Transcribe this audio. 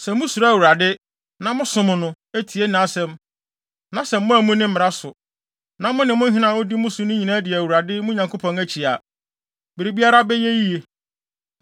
Sɛ musuro Awurade, na mosom no, tie nʼasɛm, na sɛ moammu ne mmara so, na mo ne mo hene a odi mo so no nyinaa di Awurade, mo Nyankopɔn akyi a, biribiara bɛyɛ yiye.